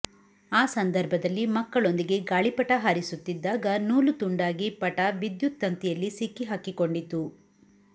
ಆ ಸಂದರ್ಭದಲ್ಲಿ ಮಕ್ಕಳೊಂದಿಗೆ ಗಾಳಿಪಟ ಹಾರಿಸುತ್ತಿದ್ದಾಗ ನೂಲು ತುಂಡಾಗಿ ಪಟ ವಿದ್ಯುತ್ ತಂತಿಯಲ್ಲಿ ಸಿಕ್ಕಿಹಾಕಿಕೊಂಡಿತು